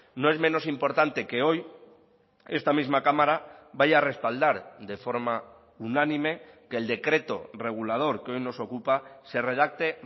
no es menos importante que hoy esta misma cámara vaya a respaldar de forma unánime que el decreto regulador que hoy nos ocupa se redacte